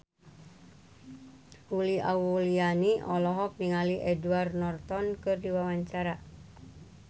Uli Auliani olohok ningali Edward Norton keur diwawancara